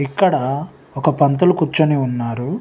ఇక్కడ ఒక పంతులు కూర్చుని ఉన్నారు.